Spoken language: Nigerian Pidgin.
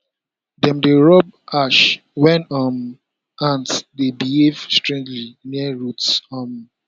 dem dey rub ash when um ants dey behave strangely near roots um